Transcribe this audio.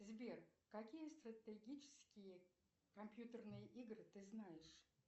сбер какие стратегические компьютерные игры ты знаешь